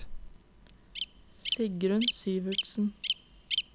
Sigrunn Syvertsen